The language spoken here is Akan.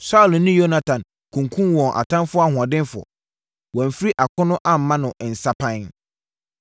“Saulo ne Yonatan kunkumm wɔn atamfoɔ ahoɔdenfoɔ! Wɔamfiri akono amma no nsapan.